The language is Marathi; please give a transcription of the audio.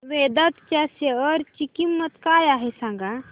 वेदांत च्या शेअर ची किंमत काय आहे सांगा